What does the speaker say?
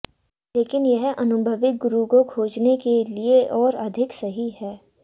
लेकिन यह अनुभवी गुरु को खोजने के लिए और अधिक सही है